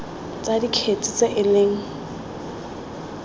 tsa dikgetse tse e leng